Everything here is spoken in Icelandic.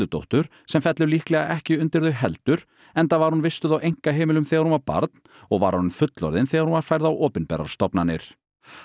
Erludóttur sem fellur líklega ekki undir þau heldur enda var hún vistuð á einkaheimilum þegar hún var barn og var orðin fullorðin þegar hún var færð á opinberar stofnanir